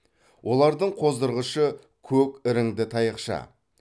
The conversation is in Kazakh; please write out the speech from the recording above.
олардың қоздырғышы көк іріңді таяқша